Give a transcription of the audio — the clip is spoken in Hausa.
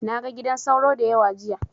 Na ga gidan sauro da yawa jiya.